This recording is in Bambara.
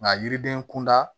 Nka yiriden kunda